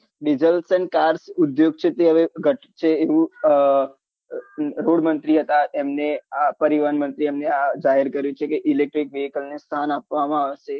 diesal સન car ઉદ્યોગ છે તે હવે ઘટશે એવું road મંત્રી હતા તેમને પરિવહન મંત્રી એમને આ જાહેર કર્યું છે કે electric vehicle ને સ્થાન આપવામાં આવશે